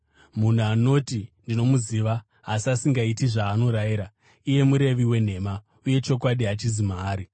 Munhu anoti, “Ndinomuziva,” asi asingaiti zvaanorayira, iyeye murevi wenhema, uye chokwadi hachizi maari.